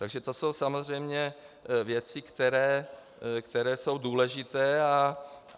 Takže to jsou samozřejmě věci, které jsou důležité.